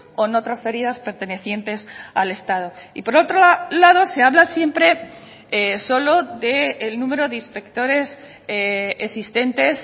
o no transferidas pertenecientes al estado y por otro lado se habla siempre solo del número de inspectores existentes